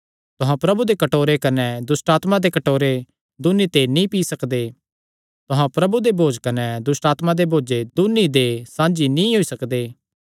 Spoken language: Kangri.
तुहां प्रभु दे कटोरे कने दुष्टआत्मां दे कटोरे दून्नी ते नीं पी सकदे तुहां प्रभु दे भोज कने दुष्टआत्मां दे भोज दून्नी दे साझी नीं होई सकदे